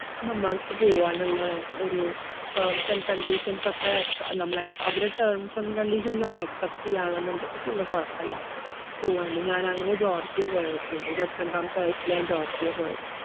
നമ്മൾക്ക് പോവാനുള്ള ഒരു terms and conditions ഒക്കെ എക്സ~ നമ്മള് എക്‌സാ~ അവരെ terms and conditions നമ്മള് accept എയ്യാണെന്നുണ്ടെങ്കിൽ പിന്നെ കൊഴപ്പില്ല, പോവാന്. ഞാൻ അങ്ങനെയാ ജോർജിയ പോയത്. പിന്നെ ഇരുപത്രണ്ടാമത്തെ വയസ്സിലാ ഞാൻ ജോർജിയ പോയത്.